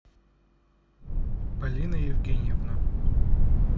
полина евгеньевна